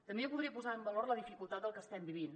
també jo podria posar en valor la dificultat del que estem vivint